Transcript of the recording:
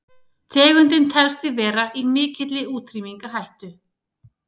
tegundin telst því vera í mikilli útrýmingarhættu